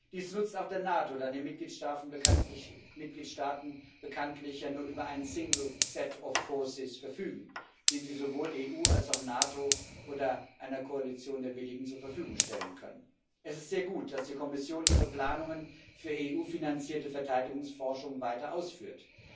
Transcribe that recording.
Dies nutzt auch der NATO, da die Mitgliedstaaten bekanntlich ja nur über ein single set of forces verfügen, das sie sowohl der EU als auch der NATO oder einer Koalition der Willigen zur Verfügung stellen können. Es ist sehr gut, dass die Kommission ihre Planungen für EU finanzierte Verteidigungsforschung weiter ausführt.